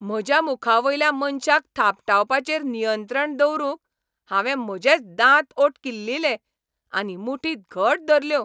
म्हज्या मुखावयल्या मनशाक थापटावपाचेर नियंत्रण दवरूंक हांवें म्हजेच दांत ओंठ किल्लीले आनी मुठी घट धरल्यो.